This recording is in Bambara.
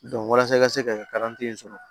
walasa i ka se ka kalanden sɔrɔ